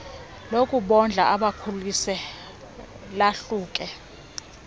lokubondla ubakhulise lahluke